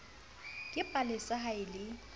ke palesa ha e le